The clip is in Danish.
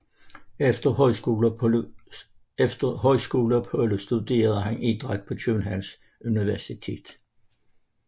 Efter højskoleopholdet studerede han idræt på Københavns Universitet